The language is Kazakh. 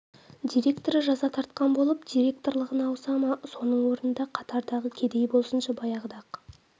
директоры жаза тартқан болып директорлығына ауыса ма соның орнында қатардағы кедей болсыншы баяғыда-ақ